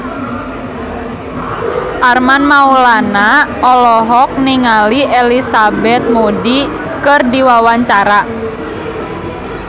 Armand Maulana olohok ningali Elizabeth Moody keur diwawancara